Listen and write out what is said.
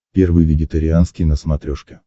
первый вегетарианский на смотрешке